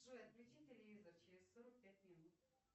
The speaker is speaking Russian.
джой отключи телевизор через сорок пять минут